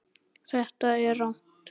Þetta er rangt.